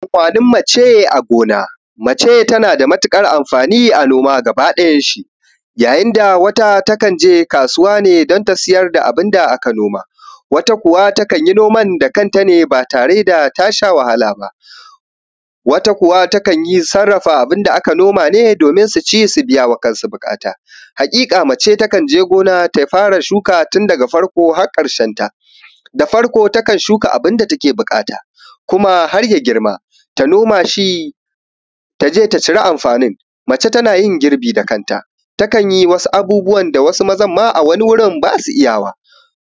Amfanin mace a gona, mace tana da matuƙar amfani a gona gabakiɗayan shi yayin da wata takan je kasuwa ne don ta siyar da abun da aka noma, wata kuwa takan yi noman da kanta ne ba tare da ta sha wahala ba. Wata kuwa takan iya sarrafa abun da aka noma ne domin su ci su biya wa kansu buƙata, haƙiƙa mace takan je gona ta fara shuka tun daga farko har ƙarshenta, da farko takan shuka abun da take buƙata kuma har ya girma ta noma shi; ta je ta cira. Amfanin mace tana yin girbi da kanta takan yi wasu abubuwan ma wanda a wasu wurin wasu mazan ma ba su iyawa,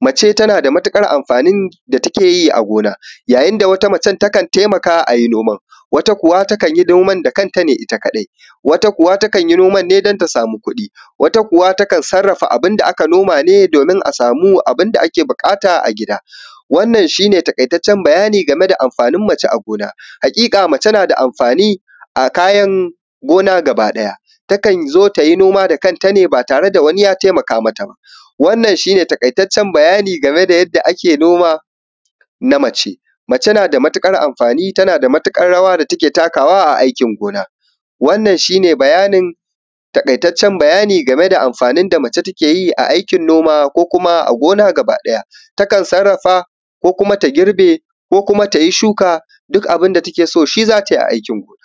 mace tana da matuƙar amfanin da take yi a gona yayin da wata macen takan taimaka a yi noman, wata kuwa kan yi noman da kanta ne ita kadai wata kuwa takan yi noman ne don ta samu ƙuɗi, wata kuwa takan sarrafa abun da aka noma ne domin ta samu abun da za ta yi buƙata a gida. Wannan shi ne taƙaitaccen bayani game da amfanin mace a gona, haƙiƙa mace na da amfani a kayan gona gabakiɗaya takan zo ta yi noma da kanta ne ba tare da wani ya taimaka mata ba, wannan shi ne taƙaitaccen bayani game da yadda ake noma na mace. Mace na da matuƙar amfani tana da matuƙar rawa da take takawa a aikin gona, wannan shi ne bayanin taƙaitaccen bayani game da amfanin da mace take yi a aikin noma ko kuma a gona gabakiɗaya, takan sarrafa ko kuma ta girbe ko kuma ta yi shuka duk abun da take so, shi za ta yi a aikin gona.